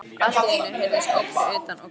Allt í einu heyrðust óp fyrir utan- og grátur.